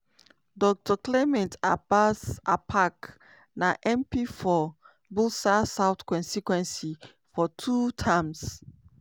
dr clement abas apaak na mp for builsa south constituency for two terms.